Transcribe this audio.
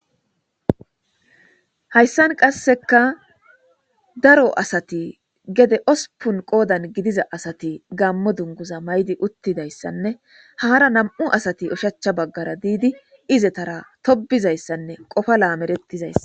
Haysan qaseka daro asati gede ospun qodani gidaza asati gaamo dunguza mayid utidaysanne haara nam'u asati oshacha bagara did izetara tobizaysanne Qopa lameretizaysa ..